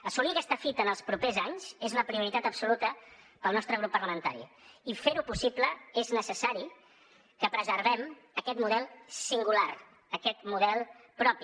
assolir aquesta fita en els propers anys és una prioritat absoluta per al nostre grup parlamentari i per fer ho possible és necessari que preservem aquest model singular aquest model propi